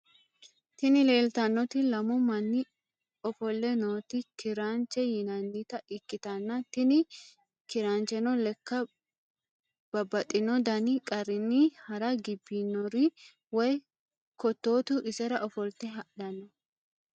Tini leeltannoti lamu manni ofolle noot kiranche yinnannita ikkitanna tini kirancheno lekka babaxino dani qarrinni hara gibbinor woy kottotu isera ofolte hadhanno.